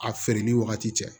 A feere ni wagati cɛ